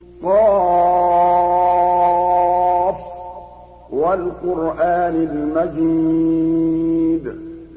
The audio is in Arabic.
ق ۚ وَالْقُرْآنِ الْمَجِيدِ